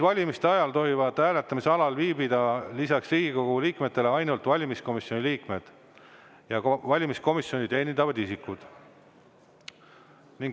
Valimiste ajal tohivad hääletamisalal viibida lisaks Riigikogu liikmetele ainult valimiskomisjoni liikmed ja valimiskomisjoni teenindavad isikud.